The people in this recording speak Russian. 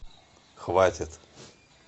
хватит